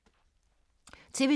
TV 2